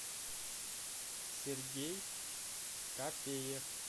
сергей капеев